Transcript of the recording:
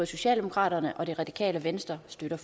socialdemokraterne og det radikale venstre støtter